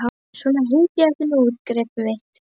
Svona, hypjaðu þig nú út, greyið mitt.